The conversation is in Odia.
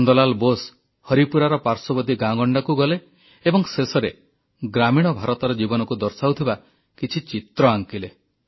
ନନ୍ଦ ଲାଲ୍ ବୋଷ ହରିପୁରାର ପାଶ୍ୱର୍ବର୍ତ୍ତୀ ଗାଁଗଣ୍ଡାକୁ ଗଲେ ଏବଂ ଶେଷରେ ଗ୍ରାମୀଣ ଭାରତର ଜୀବନକୁ ଦର୍ଶାଉଥିବା କିଛି ଚିତ୍ର ଆଙ୍କିଲେ